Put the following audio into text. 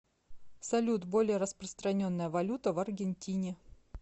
салют более распространенная валюта в аргентине